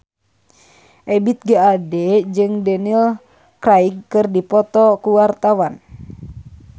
Ebith G. Ade jeung Daniel Craig keur dipoto ku wartawan